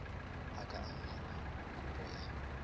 a ka amogela kopo ya